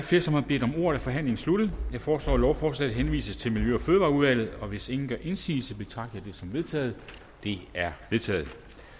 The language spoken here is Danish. flere som har bedt om ordet er forhandlingen sluttet jeg foreslår at lovforslaget henvises til miljø og fødevareudvalget hvis ingen gør indsigelse betragter jeg det som vedtaget det er vedtaget